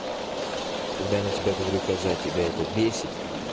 когда я на тебя говорю когда коза тебя это бесит